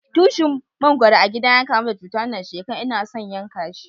Tushin mangoron a gida na ya kamu da cuta wanan shekaran, n'na son yanka shi.